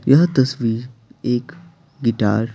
यह तस्वीरएक गिटार --